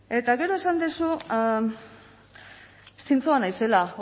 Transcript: eta gero esan duzu zintzoa naizela